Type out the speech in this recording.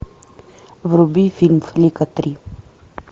вруби фильм флика три